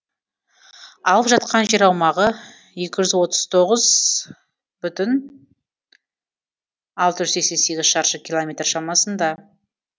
алып жатқан жер аумағы екі жүз отыз тоғыз бүтін алты жүз сексен сегіз шаршы километр шамасында